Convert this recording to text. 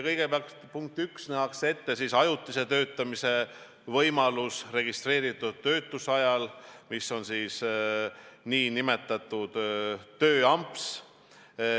Kõigepealt, punkt üks, nähakse ette ajutise töötamise võimalus registreeritud töötuse ajal, see on see nn tööamps.